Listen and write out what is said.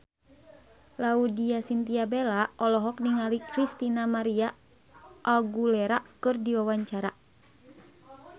Laudya Chintya Bella olohok ningali Christina María Aguilera keur diwawancara